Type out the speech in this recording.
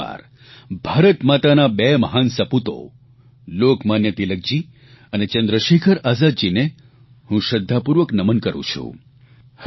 ફરીએક વાર ભારતમાતાના આ બે મહાન સપૂતો લોકમાન્ય તિલકજી અને ચંદ્રશેખર આઝાદજીને હું શ્રદ્ધાપૂર્વક નમન કરૂં છું